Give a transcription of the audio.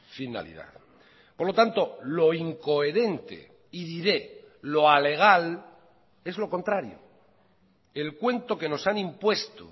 finalidad por lo tanto lo incoherente y diré lo alegal es lo contrario el cuento que nos han impuesto